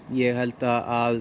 ég held að